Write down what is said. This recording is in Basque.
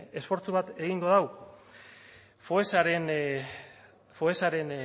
esfortzu bat egingo du foessaren foessaren